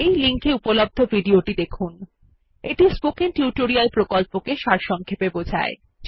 এই লিঙ্ক এ উপলব্ধ ভিডিও টি স্পোকেন টিউটোরিয়াল প্রকল্পকে সারসংক্ষেপে বোঝায়